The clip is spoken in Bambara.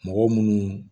Mɔgɔ munnu